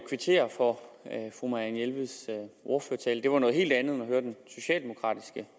kvittere for fru marianne jelveds ordførertale det var noget helt andet end at høre den socialdemokratiske